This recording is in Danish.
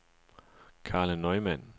Karla Neumann